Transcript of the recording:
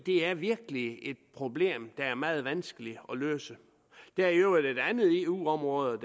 er virkelig et problem der er meget vanskeligt at løse der er i øvrigt et andet eu område